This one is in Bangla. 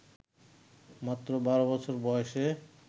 মাত্র ১২ বছর বয়সে